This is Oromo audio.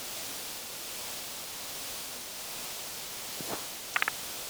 yookiin foonii fi hanqaaquudhaani. Ati Isa kama baay'ee jaallattaa?